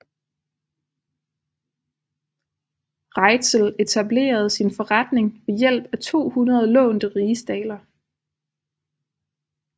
Reitzel etablerede sin forretning ved hjælp af 200 lånte rigsdaler